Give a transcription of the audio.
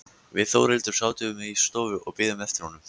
Við Þórhildur sátum í stofu og biðum eftir honum.